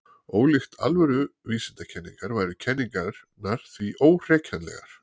ólíkt alvöru vísindakenningar væru kenningarnar því óhrekjanlegar